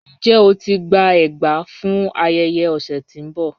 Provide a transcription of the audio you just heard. Njẹ́ o ti gbà ègbà fún ayéyẹ ọsẹ tí n bọ?